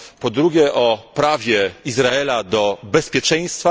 Po drugie, o prawie Izraela do bezpieczeństwa.